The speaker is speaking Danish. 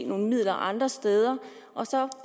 nogle midler andre steder og så